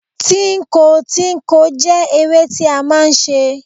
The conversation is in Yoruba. Tínko tínko jẹ́ eré tí a máà ń ṣe.